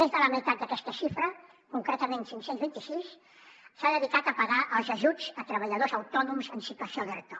més de la meitat d’aquesta xifra concretament cinc cents i vint sis s’ha dedicat a pagar els ajuts a treballadors autònoms en situació d’erto